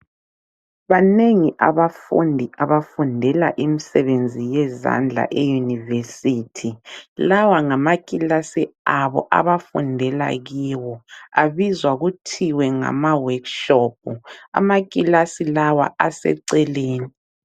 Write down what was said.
Banengi abafundi abafundela imisebenzi yezandla eYunivesithi. Lawa ngamakilasi abo abafundela kiwo. Abizwa kuthiwe ngama workshop. Amakilasi lawa aseceleni.